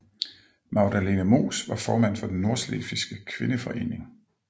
Magdalene Moos var formand for Den Nordslesvigske Kvindeforening